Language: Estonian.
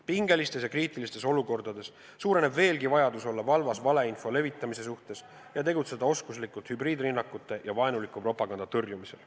Pingelistes ja kriitilistes olukordades suureneb veelgi vajadus olla valvas valeinfo levitamise suhtes ja tegutseda oskuslikult hübriidrünnakute ja vaenuliku propaganda tõrjumisel.